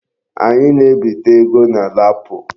Anyị na-ebite ego na LAPO.